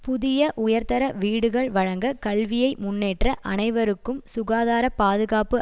புதிய உயர்தர வீடுகள் வழங்க கல்வியை முன்னேற்ற அனைவருக்கும் சுகாதார பாதுகாப்பு